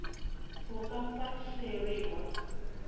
o ka fa sheri wa